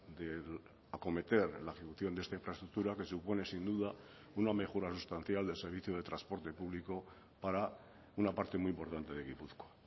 de acometer la ejecución de esta infraestructura que supone sin duda una mejora sustancial del servicio de transporte público para una parte muy importante de gipuzkoa